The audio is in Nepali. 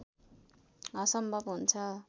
असम्भव हुन्छ